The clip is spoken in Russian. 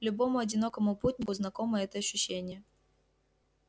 любому одинокому путнику знакомо это ощущение